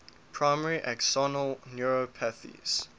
primary axonal neuropathies